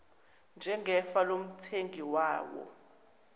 njengefa lomthengi wawo